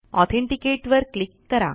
authenticate वर click करा